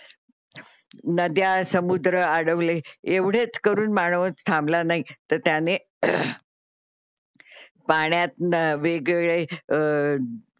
नद्या समुद्र आडवले येवढेच करून माणव थांबला नाही तर त्याने पाण्यात न वेगवेगळे अ